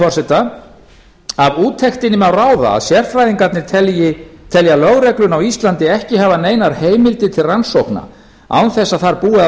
forseta af úttektinni má ráða að sérfræðingarnir telja lögregluna á íslandi ekki hafa neinar heimildir til rannsókna án þess að þar búi að